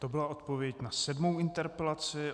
To byla odpověď na sedmou interpelaci.